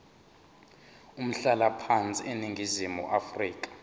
umhlalaphansi eningizimu afrika